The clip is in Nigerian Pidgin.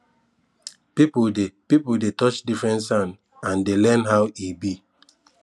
people dey people dey touch different sand and dey learn how e be